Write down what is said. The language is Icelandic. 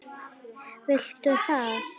Viltu það?